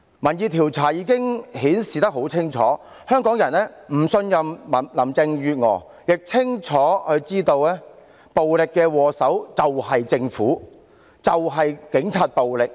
民意調查已經很清楚地顯示，香港人不信任林鄭月娥，亦清楚知道暴力的禍首就是政府和警察。